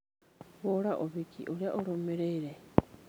hũra ũhiki ũrĩa ũrũmĩrĩire